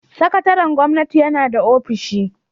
Sakataren gwamnati yana da ofishi.